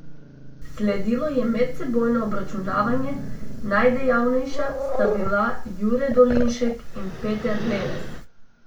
Sledilo je medsebojno obračunavanje, najdejavnejša sta bila Jure Dolinšek in Peter Lenes.